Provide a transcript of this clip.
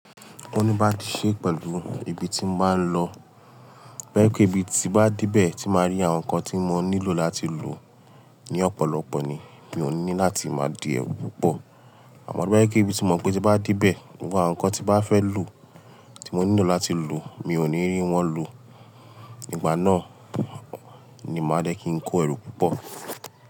Ó ní bá di ṣe pẹ̀lú ibi tí mo máa ń lọ. Tó bá jẹ́ pé ibi tí bá dé bẹ́ẹ̀ tí màá rí àwọn nǹkan tí mo nílò láti lò ní ọ̀pọ̀lọpọ̀ ni mi ò ní láti máa di ẹrú púpọ̀. Àmọ́ tóbá jẹ́ pé ibi tí mo mọ̀ pé tí bá dé bẹ́ẹ̀, àwọn nǹkan tí bá fẹ́ lò tí mo nílò láti lò mi ò ní rí wọ́n lò. Ìgbà náà ni màá dé kí n kó ẹrú púpọ̀.